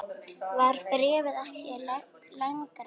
Var bréfið ekki lengra?